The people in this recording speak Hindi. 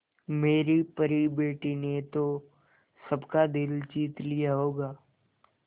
मेरी परी बेटी ने तो सबका दिल जीत लिया होगा